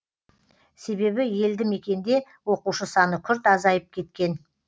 себебі елді мекенде оқушы саны күрт азайып кеткен